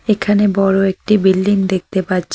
এখানে বড়ো একটি বিল্ডিং দেখতে পাচ্ছি।